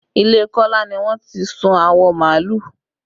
Ilé Kola ni wọ́n ti sun awọ màálù